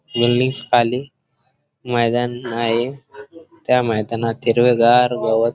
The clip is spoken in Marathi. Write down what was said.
मैदान आहे त्या मैदानात हिरवेगार गवत--